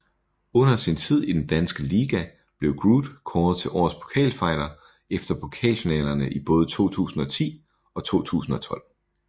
Under sin tid i den danske liga blev Groot kåret til årets pokalfighter efter pokalfinalerne i både 2010 og 2012